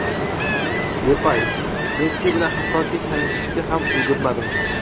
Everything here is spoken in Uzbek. Depay: "Messi bilan hattoki tanishishga ham ulgurmadim.".